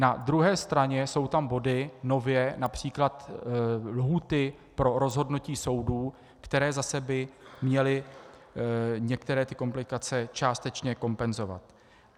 Na druhé straně jsou tam body, nově, například lhůty pro rozhodnutí soudu, které zase by měly některé ty komplikace částečně kompenzovat.